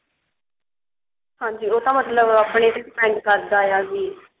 ਹਾਂਜੀ ਉਹ ਤਾਂ ਮਤਲਬ ਆਪਣੇ ਤੇ depend ਕਰਦਾ ਵੀ